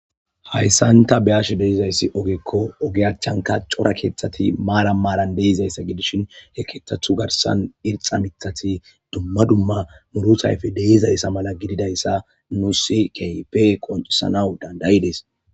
Hayssanta beash deizayssi ogekko ogeyachchanka cora keeththati maara maaran deizayssa gidishin he keeththathu garsan irxa mithati dumma dumma murutayfe deizayssa mala gididayssa nusi keype qonxisanaw dandayides.